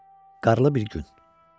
Qarlı bir gün.